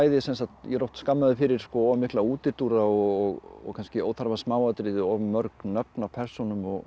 ég er oft skammaður fyrir of mikla útúrdúra og kannski óþarfa smáatriði of mörg nöfn á persónum og